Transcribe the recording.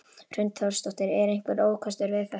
Hrund Þórsdóttir: Eru einhverjir ókostir við þetta?